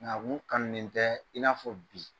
Nk'a kun kanunen tɛ i n'a fɔ bi.